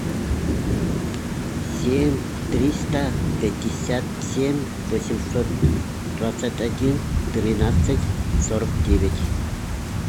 семь триста пятьдесят семь восемьсот двадцать один тринадцать сорок девять